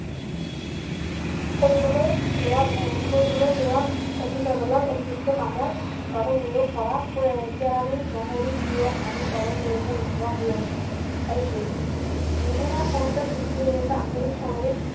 কৰিবলৈ লোৱা আহ কৰিবলৈ লোৱা অফিচ আদালত অতিৰিক্ত কামৰ বাবে নিয়োগ কৰা কেৰাণী মহৰী পীয়ন আদি পদৰ প্ৰয়োজন নোহোৱা হৈ আছে আহিছে নিবনুৱা সমস্যা সৃষ্টি হৈ আছে আধুনিক সাময়িক